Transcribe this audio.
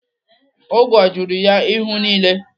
Ngwọ juru ya ihu niile.